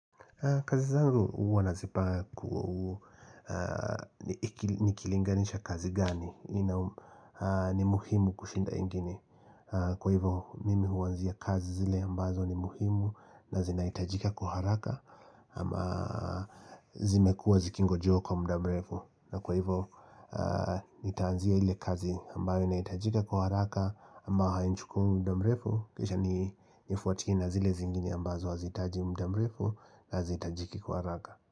Kazi zangu huwa nazipanga nikilinganisha kazi gani, ni muhimu kushinda ingine Kwa hivyo mimi huanzia kazi zile ambazo ni muhimu na zinaitajika kwa haraka ama zimekuwa zikingojewa kwa muda mrefu na kwa hivyo nitaanzia ile kazi ambayo inaitajika kwa haraka ambao hainichukui muda mrefu Kisha nifuatie na zile zingine ambazo hazitaji muda mrefu na hazitajiki kwa haraka.